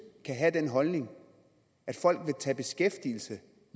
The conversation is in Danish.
kan have den holdning at folk vil tage beskæftigelse